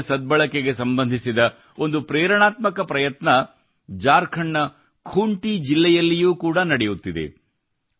ನೀರಿನ ಸದ್ಬಳಕೆಗೆ ಸಂಬಂಧಿಸಿದ ಒಂದು ಪ್ರೇರಣಾತ್ಮಕ ಪ್ರಯತ್ನ ಜಾರ್ಖಂಡ್ ನ ಖೂಂಟೀ ಜಿಲ್ಲೆಯಲ್ಲಿಯೂ ಕೂಡಾ ನಡೆಯುತ್ತಿದೆ